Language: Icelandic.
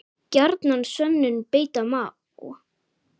Gjarnan sönnum beita má.